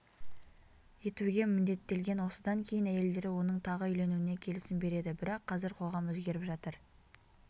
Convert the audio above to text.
етуге міндеттелген осыдан кейін әйелдері оның тағы үйленуіне келісім береді бірақ қазір қоғам өзгеріп жатыр